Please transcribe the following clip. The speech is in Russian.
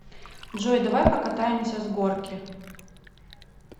джой давай покатаемся с горки